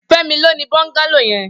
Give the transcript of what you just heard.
Femi ló ni bọngàló yèn